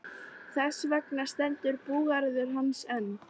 Þess vegna stendur búgarður hans enn.